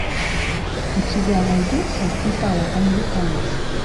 у тебя найдется итало американец